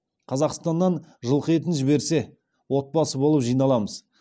қазақстаннан жылқы етін жіберсе отбасы болып жиналамыз